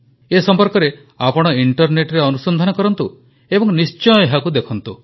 ଏ ସମ୍ପର୍କରେ ଆପଣ ଇଂଟରନେଟ୍ରେ ଅନୁସନ୍ଧାନ କରନ୍ତୁ ଏବଂ ନିଶ୍ଚୟ ଏହାକୁ ଦେଖନ୍ତୁ